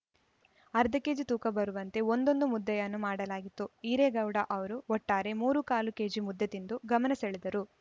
ಅರ್ಧ ಕೆಜಿ ತೂಕ ಬರುವಂತೆ ಒಂದೊಂದು ಮುದ್ದೆಯನ್ನೂ ಮಾಡಲಾಗಿತ್ತು ಈರೇಗೌಡ ಅವರು ಒಟ್ಟಾರೆ ಮೂರೂಕಾಲು ಕೆಜಿ ಮುದ್ದೆ ತಿಂದು ಗಮನಸೆಳೆದರು